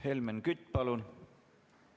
Helmen Kütt, palun!